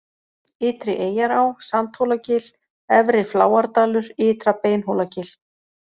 Ytri-Eyjará, Sandhólagil, Efri-Fláardalur, Ytra-Beinhólagil